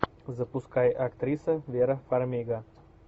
запускай актриса вера фармига